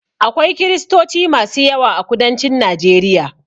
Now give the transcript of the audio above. Akwai kiristoci masu yawa a kudancin Najeriya.